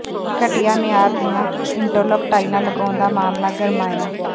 ਘਟੀਆ ਮਿਆਰ ਦੀਆਂ ਇੰਟਰਲਾਕ ਟਾਈਲਾਂ ਲਗਾਉਣ ਦਾ ਮਾਮਲਾ ਗਰਮਾਇਆ